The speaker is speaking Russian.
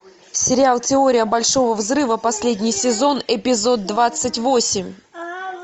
сериал теория большого взрыва последний сезон эпизод двадцать восемь